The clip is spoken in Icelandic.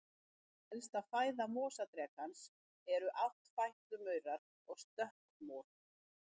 Helsta fæða mosadrekans eru áttfætlumaurar og stökkmor.